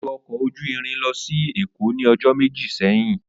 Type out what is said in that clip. O lo ọkọ oju irin losi Eko ni ọjọ meji seyin.